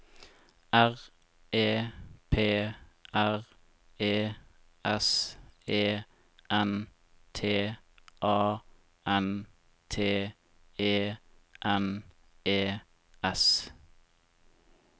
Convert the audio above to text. R E P R E S E N T A N T E N E S